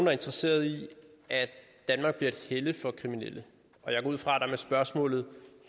er interesseret i at danmark bliver et helle for kriminelle og jeg går ud fra at der med spørgsmålet